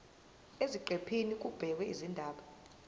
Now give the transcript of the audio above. eziqephini kubhekwe izindaba